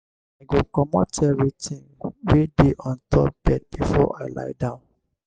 i go comot evertin wey dey on top bed before i lie down.